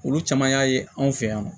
Olu caman y'a ye anw fɛ yan nɔ